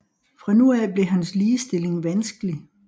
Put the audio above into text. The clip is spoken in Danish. Fra nu af blev hans stilling vanskelig